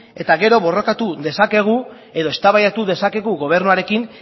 eta gero borrokatu dezakegu edo eztabaidatu dezakegu gobernuarekin